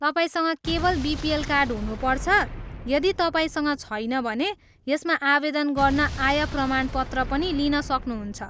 तपाईँसँग केवल BPL card हुनुपर्छ, यदि तपाईँसँग छैन भने यसमा आवेदन गर्न आय प्रमाणपत्र पनि लिन सक्नुहुन्छ।